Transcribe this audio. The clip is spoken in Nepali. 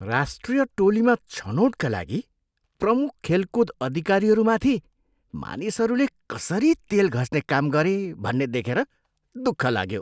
राष्ट्रिय टोलीमा छनोटका लागि प्रमुख खेलकुद अधिकारीहरूमाथि मानिसहरूले कसरी तेल घस्ने काम गरे भन्ने देखेर दुःख लाग्यो।